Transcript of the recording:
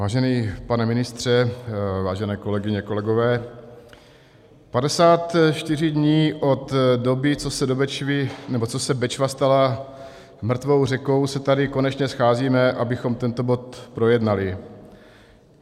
Vážený pane ministře, vážené kolegyně, kolegové, 54 dní od doby, co se Bečva stala mrtvou řekou, se tady konečně scházíme, abychom tento bod projednali.